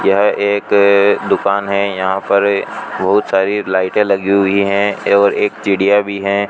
यह एक दुकान हैं यहां पर बहुत सारी लाइटें लगी हुई हैं और एक चिड़िया भी हैं।